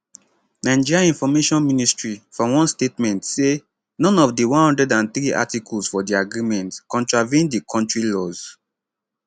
nigeria information ministry for one statement say none of di 103 articles for di agreement contravene di kontri laws